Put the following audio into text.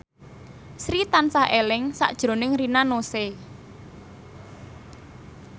Sri tansah eling sakjroning Rina Nose